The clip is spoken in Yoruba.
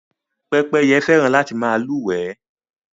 Pẹ́pẹ́yẹ fẹ́ràn láti má lúwèé